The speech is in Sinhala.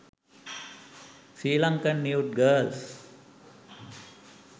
sri lankan nude girls